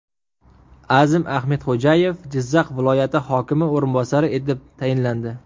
Azim Ahmedxo‘jayev Jizzax viloyati hokimi o‘rinbosari etib tayinlandi.